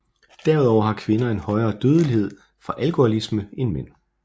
Herudover har kvinder en højere dødelighed fra alkoholisme end mænd